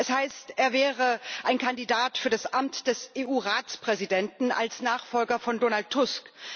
Es heißt, er wäre ein Kandidat für das Amt des EU Ratspräsidenten als Nachfolger von Donald Tusk.